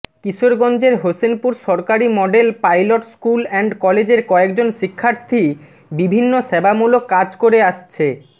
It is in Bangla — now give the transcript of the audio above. কিশোরগঞ্জের হোসেনপুর সরকারি মডেল পাইলট স্কুল অ্যান্ড কলেজের কয়েকজন শিক্ষার্থী বিভিন্ন সেবামূলক কাজ করে আসছে